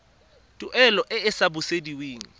tuelo e e sa busediweng